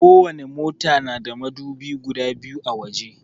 Ko wani mota na da madubi guda biyu a waje